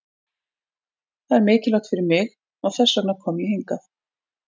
Það er mikilvægt fyrir mig og þess vegna kom ég hingað.